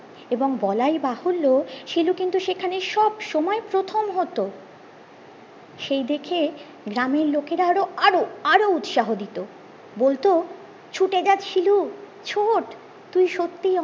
এবং বলাই বাহুল্য শিলু কিন্তু সেখানে সব সময় প্রথম হতো সেই দেখে গ্রামের লোকেরা আরো আরো আরো উৎসাহ দিতো বলতো ছুটে যা শিলু ছোট তুই সত্যি